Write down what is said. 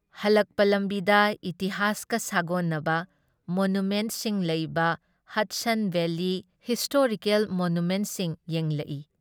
ꯍꯣꯜꯂꯛꯄ ꯂꯝꯕꯤꯗ ꯏꯇꯤꯍꯥꯁꯀ ꯁꯥꯒꯣꯟꯅꯕ ꯃꯣꯅꯨꯃꯦꯟꯠꯁꯤꯡ ꯂꯩꯕ ꯍꯗꯁꯟ ꯚꯦꯂꯤ ꯍꯤꯁꯇꯔꯤꯀꯦꯜ ꯃꯣꯅꯨꯃꯦꯟꯠꯁꯤꯡ ꯌꯦꯡꯂꯛꯏ ꯫